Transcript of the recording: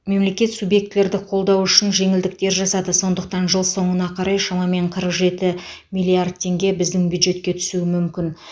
мемлекет субъектілерді қолдау үшін жеңілдіктер жасады сондықтан жыл соңына қарай шамамен қырық жеті миллиард теңге біздің бюджетке түсуі мүмкін